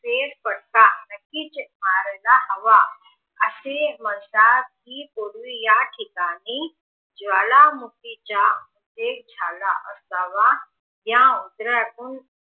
फेरपट्टा नक्कीच मारायला हवा असं म्हणतात कि दोनी याठिकाणी ज्वालामुखी चा वेग झाला असावा या उत्तरातून